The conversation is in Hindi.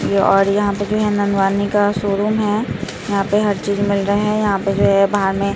य और यहाँ पे जो है ननवानी का शोरूम है यहाँ पे हर चीज मिल रहे है यहाँ पे जो है बाहर में --